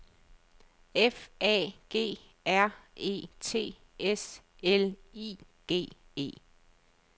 F A G R E T S L I G E